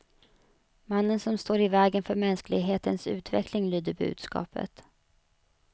Mannen står i vägen för mänsklighetens utveckling, lyder budskapet.